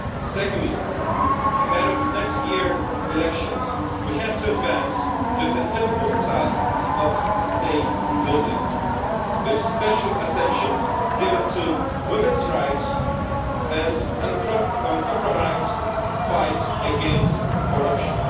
Secondly, ahead of next year's elections, we have to advance with the difficult task of state building, with special attention given to women's rights and the uncompromised fight against corruption.